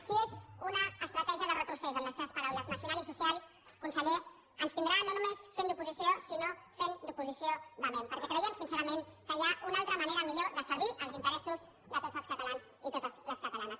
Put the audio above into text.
si és una estratègia de retrocés en les seves paraules nacional i social conseller ens tindrà no només fent d’oposició sinó fent d’oposició vehement perquè creiem sincerament que hi ha una altra manera millor de servir els interessos de tots els catalans i totes les catalanes